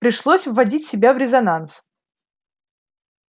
пришлось вводить себя в резонанс